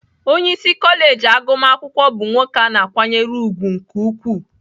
Onye isi kọleji agụmakwụkwọ bụ nwoke a na-akwanyere ùgwù nke ukwuu